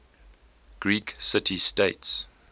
greek city states